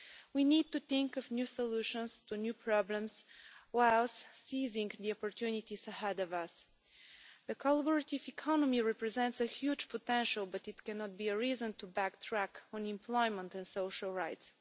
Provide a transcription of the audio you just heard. We need to think of new solutions to new problems whilst seizing the opportunities ahead of us. The collaborative economy represents a huge potential, but it cannot be a reason to backtrack on employment and social rights.